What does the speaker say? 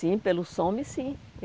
Sim, pelo SOME sim.